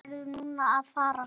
Þú fórst nærri um það.